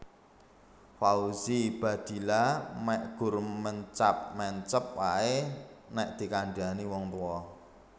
Fauzi Baadila mek gur mencap mencep ae nek dikandhani wong tuwa